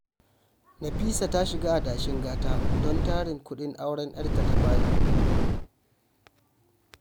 Nafisa ta shiga adashin gata don tarin kuɗin auren 'yarta ta fari